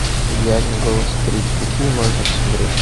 идеальный голос три какие можно посмотреть